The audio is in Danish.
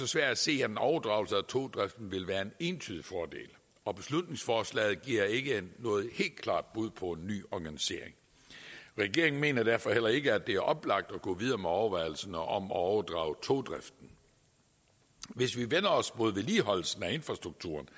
svært at se at en overdragelse af togdriften vil være en entydig fordel og beslutningsforslaget giver ikke noget helt klart bud på en nyorganisering regeringen mener derfor heller ikke at det er oplagt at gå videre med overvejelserne om at overdrage togdriften hvis vi vender os mod vedligeholdelsen af infrastrukturen